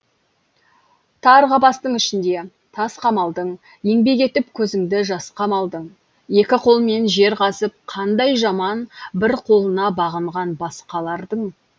тар қапастың ішінде тас қамалдың еңбек етіп көзіңді жасқа малдың екі қолмен жер қазып қандай жаман бір қолына бағынған басқалардың